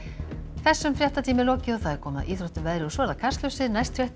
þessum fréttatíma er lokið og komið að íþróttum veðri og svo Kastljósi næstu fréttir